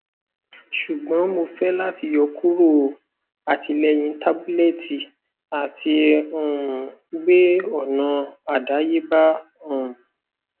ṣugbọn mo fẹ lati yọkuro atilẹyin tabulẹti ati um gbe ọna adayeba um